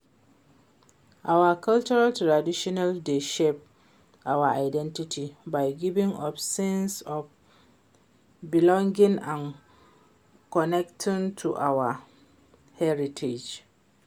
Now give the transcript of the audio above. Our cultural tradition dey shape our identity by giving us sense of belonging and connection to our heritage.